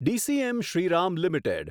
DCM Shriram limited